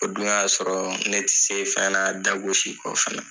O dun y'a sɔrɔ ne tɛ se fɛn na dagosi kɔ fɛnɛ.